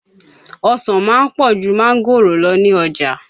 Ọsàn ma ń pọ̀ jù máńgòrò lọ ní ọjà.